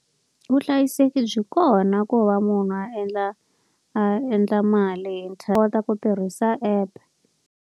Vuhlayiseki byi kona ku va munhu a endla a endla mali hi kota ku tirhisa app.